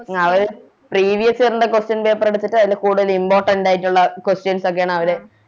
ആ അത് Previous year ന്റ Question paper എടുത്തിട്ട് അതില് കൂടുതല് Important ആയിട്ടൊള Questions ഒക്കെയാണ് അവര്